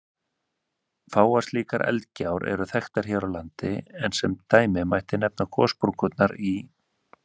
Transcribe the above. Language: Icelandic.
Fáar slíkar eldgjár eru þekktar hér á landi, en sem dæmi mætti nefna gossprungurnar í